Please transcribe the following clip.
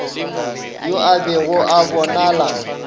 yo a bego a bonala